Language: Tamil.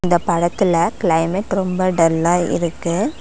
இந்த படத்துல கிளைமேட் ரொம்ப டல்லா இருக்கு.